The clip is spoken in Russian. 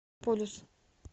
полюс